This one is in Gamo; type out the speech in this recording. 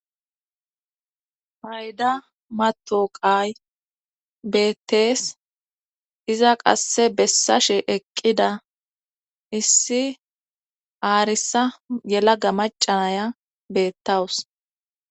payda matoqay beettees iza qasse bessashe eqqida issi aarissa yelaga macanaya bettawus